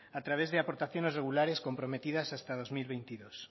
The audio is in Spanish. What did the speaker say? a través de aportaciones regulares comprometidas hasta dos mil veintidós